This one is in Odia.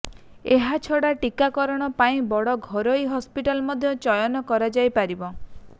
ଏହା ଛଡା ଟୀକାକରଣ ପାଇଁ ବଡ ଘରୋଇ ହସ୍ପିଟାଲ ମଧ୍ୟ ଚୟନ କରାଯାଇ ପାରିବ